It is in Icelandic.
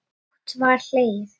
Dátt var hlegið.